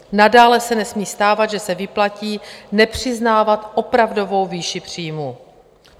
Nadále se nesmí stávat, že se vyplatí nepřiznávat opravdovou výši příjmu.